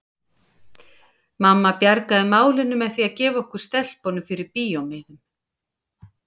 Mamma bjargaði málinu með því að gefa okkur stelpunum fyrir bíómiðum.